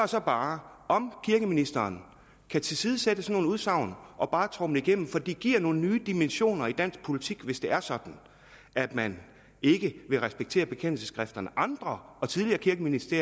så bare om kirkeministeren kan tilsidesætte sådanne udsagn og bare tromle igennem for det giver nogle nye dimensioner i dansk politik hvis det er sådan at man ikke vil respektere bekendelsesskrifterne andre og tidligere kirkeministre